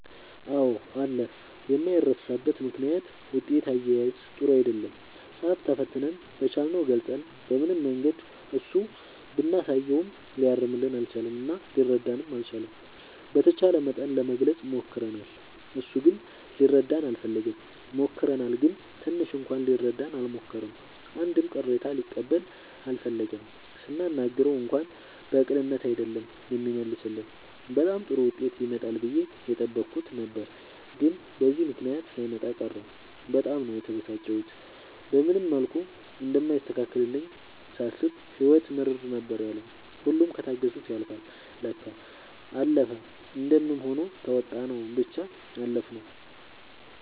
አዎ አለ የማይረሳበት ምክንያት ውጤት አያያዝ ጥሩ አይደለም ፃፍ ተፈትነን በቻልነው ገልፀን በምንም መንገድ እሱ ብናሳየውም ሊያርምልን አልቻለም እና ሊረዳንም አልቻለም። በተቻለ መጠን ለመግለፅ ሞክርናል እሱ ግን ሊረዳን አልፈለገም። ሞክረናል ግን ትንሽ እንኳን ሊረዳን አልሞከረም አንድም ቅሬታ ሊቀበል አልፈለገም ስናናግረው እንኳን በቅንነት አይደለም የሚመልስልን በጣም ጥሩ ዉጤት ይመጣል ብዬ የጠበኩት ነበር ግን በዚህ ምክንያት ሳይመጣ ቀረ በጣም ነው የተበሳጨሁት። በምንም መልኩ እንደማይስተካከልልኝ ሳስብ ህይወት ምርር ነበር ያለኝ ሁሉም ከታገሱት ያልፍል ለካ። አለፈ እንደምንም ሆኖ ተዉጣንው ብቻ አለፍነው።